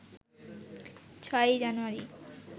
৬ই জানুয়ারী